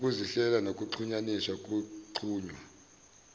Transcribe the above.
ukuzihlela ngokuzihlukanisa kunqunywa